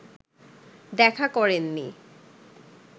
দেখা করেননি